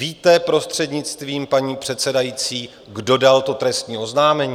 Víte, prostřednictvím paní předsedající, kdo dal to trestní oznámení?